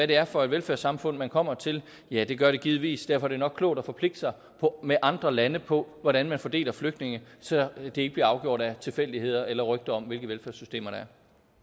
det er for et velfærdssamfund man kommer til ja det gør det givetvis derfor er det nok klogt at forpligte sig med andre lande på hvordan man fordeler flygtninge så det ikke bliver afgjort af tilfældigheder eller rygter om hvilke velfærdssystemer der